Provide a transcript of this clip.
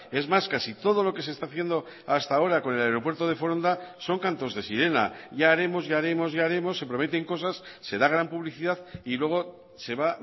es más casi todo lo que se está haciendo hasta ahora con el aeropuerto de foronda son cantos de sirena ya haremos ya haremos ya haremos se prometen cosas se da gran publicidad y luego se va